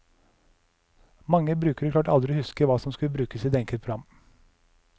Mange brukere klarte aldri å huske hva som skulle brukes i det enkelte program.